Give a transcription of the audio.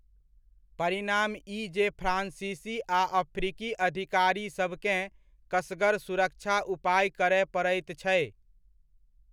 परिणाम ई जे फ्रांसीसी आ अफ्रीकी अधिकारीसभकेँ कसगर सुरक्षा उपाय करय पड़ैत छै।